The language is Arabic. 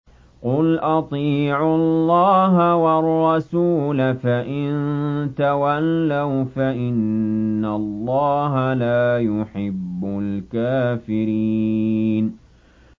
قُلْ أَطِيعُوا اللَّهَ وَالرَّسُولَ ۖ فَإِن تَوَلَّوْا فَإِنَّ اللَّهَ لَا يُحِبُّ الْكَافِرِينَ